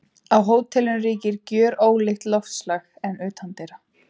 Á hótelinu ríkir gjörólíkt loftslag en utandyra.